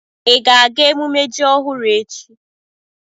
Ị ga-aga emumme ji ọhụrụ echi?